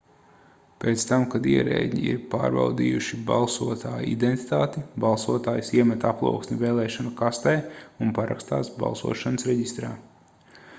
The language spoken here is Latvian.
pēc tam kad ierēdņi ir pārbaudījuši balsotāja identitāti balsotājs iemet aploksni vēlēšanu kastē un parakstās balsošanas reģistrā